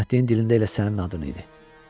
Rəhmətliyin dilində elə sənin adın idi.